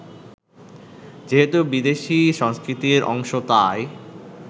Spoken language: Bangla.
যেহেতু বিদেশি সংস্কৃতির অংশ তাই